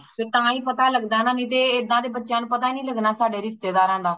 ਫੇ ਤਾਂਹੀ ਪਤਾ ਲਗਦਾ ਨਾ ਨਹੀਂ ਤੇ ਏਦਾਂ ਤੇ ਬੱਚਿਆਂ ਨੂੰ ਪਤਾ ਹੀ ਨਹੀਂ ;ਲਗਣਾ ਸਾਡੇ ਰਿਸ਼ਤੇਦਾਰਾਂ ਦਾ